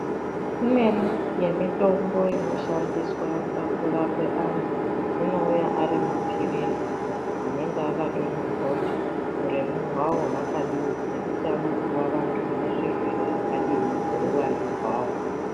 Imweni yemitombo inoshandiswa pakurape anhu, inouya ari mapirizi anenge akatonyorwa kuti uremu hwawo hwakadini ngekuti anopuwa vantu vanezvirwere zvakadini neuwandu hwawo.